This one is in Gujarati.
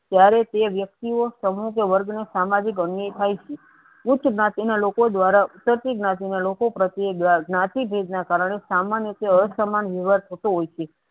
તયારે તે વ્યક્તિઓસમૂહ કે વર્ગનો સામાજિક અન્યય થાય છે. ઉચ્ચ જ્ઞાતિના લોકો દ્વારા ઉતરતી જ્ઞાતિ ના લોકો પ્રત્યે ગાન જ્ઞાતિ ભિન્ન ના કારણે સામાન્ય કે અસમાન્ય વ્યવહાર થતું હોય છે.